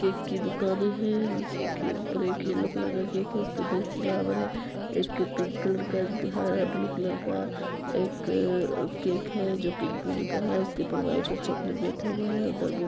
Cake की दुकान है नीचे येलो कलर का केक है उस पे दो फ्लावर है एक पिंक कलर का है एक ब्लू कलर का एक केक है जो पिक कलर का है उसके ऊपर व्हाइट और चॉकलेट बैठा हुआ है।